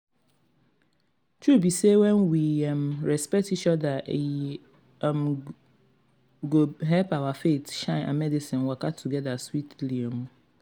truth be say when we um um respect each other e um go help our faith shine and medicine waka together sweetly. um